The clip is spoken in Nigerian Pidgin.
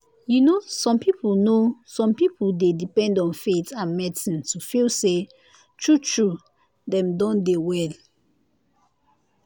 you know some people know some people dey depend on faith and medicine to feel say true true dem don dey well.